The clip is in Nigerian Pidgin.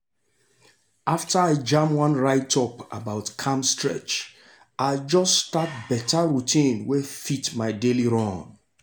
after i jam one write-up about calm stretch i just start better routine wey fit my daily run.